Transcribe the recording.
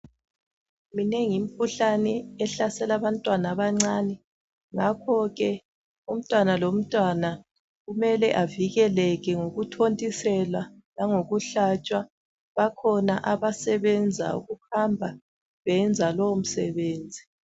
Minengi imikhuhlane ehlasela abantwana abancane ngakhoke umntwana lomntwana kumele avikeleke ngokuthontiselwa langokuhlatshwa bakhona abasebenza kuhamba beyenza lowo msebenzi.